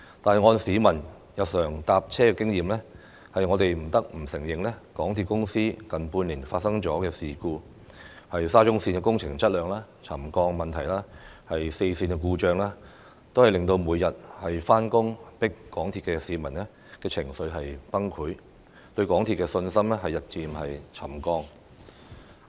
但是，按照市民日常乘車的經驗，我們不得不承認，港鐵公司近半年發生的事故，包括沙中線工程質量、沉降問題和四線故障等，均令每天上班擠港鐵的市民情緒崩潰，對港鐵公司的信心日漸"沉降"。